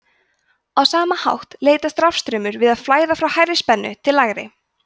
á sama hátt leitast rafstraumur við að flæða frá hærri spennu til lægri